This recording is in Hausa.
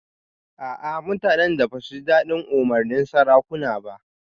A'a mutanen da ba su ji dadin umarnin sarakunan ba